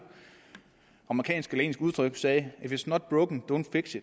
amerikansk eller engelsk udtryk siger at if its not broke dont fix